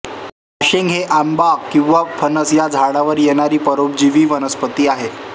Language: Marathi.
बाशिंग हे आंबा किंवा फणस या झाडावर येणारी परोपजीवी वनस्पती आहे